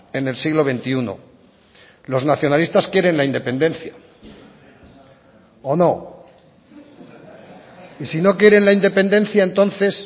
en el siglo veintiuno los nacionalistas quieren la independencia o no y si no quieren la independencia entonces